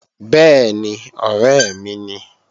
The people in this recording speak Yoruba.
Bẹ́ẹ̀ni, ọ̀rẹ́ mi ni